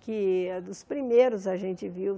que é dos primeiros a gente viu.